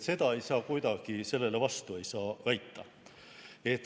Sellele ei saa kuidagi vastu väita.